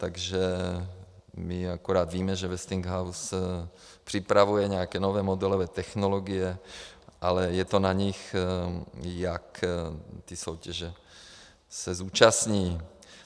Takže my akorát víme, že Westinghouse připravuje nějaké nové modelové technologie, ale je to na nich, jak té soutěže se zúčastní.